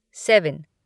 seven